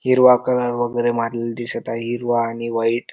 हिरवा कलर वगैरे मारलेला दिसत आहे हिरवा आणि व्हाइट --